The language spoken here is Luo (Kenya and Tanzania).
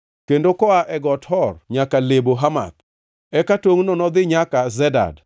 kendo koa e Got Hor nyaka Lebo Hamath. Eka tongʼno nodhi nyaka Zedad,